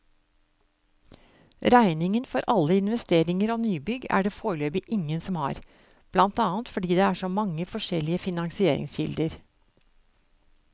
Regningen for alle investeringer og nybygg er det foreløpig ingen som har, blant annet fordi det er så mange forskjellige finansieringskilder.